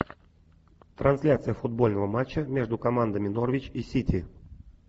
трансляция футбольного матча между командами норвич и сити